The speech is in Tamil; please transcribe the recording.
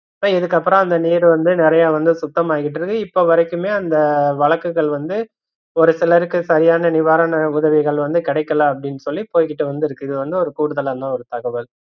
So இதுக்கப்பறம் அந்த நீர் வந்து நிறையா வந்து சுத்தமா ஆய்ட்டுயிருக்கு இப்பவரைக்குமே அந்த வழக்குகள் வந்து ஒரு சிலருக்கு சரியான நிவாரண உதவிகள் வந்து கிடைகல அப்படின்னு சொல்லி போய்கிட்டு வந்து இருக்கு இது வந்து ஒரு கூடுதலான தகவல்